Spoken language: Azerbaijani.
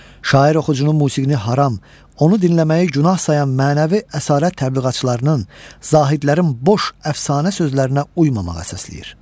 Şair oxucunun musiqini haram, onu dinləməyi günah sayan mənəvi əsarət təbliğatçılarının, zahidlərin boş əfsanə sözlərinə uymamağa səsləyir.